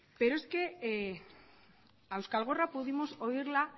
pero es que a euskal gorrak pudimos oírla